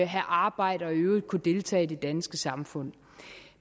have arbejde og i øvrigt kunne deltage i det danske samfund